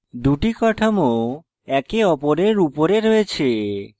দুটি কাঠামো একে অপরের উপরে রয়েছে